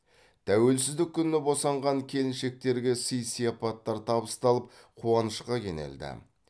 тәуелсіздік күні босанған келіншектерге сыи сияпаттар табысталып қуанышқа кенелді